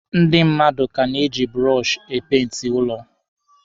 Ndị mmadụ ka na-eji bụrọshị e peenti ụlọ.